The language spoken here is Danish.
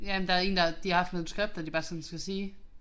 Ja men der er en der de har haft nogle manuskripter de bare sådan skal sige